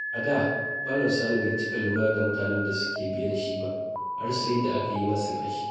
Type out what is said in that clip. A da, Malam Sani bai cika lura da mutanen da ke biye da shi ba, har sai da aka yi masa fashi.